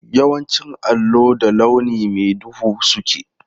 Yawancin allo da launi mai duhu suke.